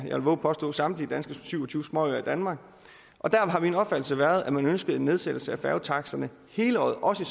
jeg vove at påstå samtlige syv og tyve småøer i danmark og der har min opfattelse været at man ønskede en nedsættelse af færgetaksterne hele året også i